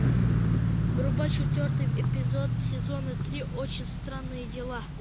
врубай четвертый эпизод сезона три очень странные дела